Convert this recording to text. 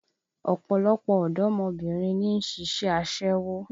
Ọ̀pọ̀lọpọ̀ ọ̀dọ́mọbìnrin ni ń ṣiṣẹ́ aṣẹ́wó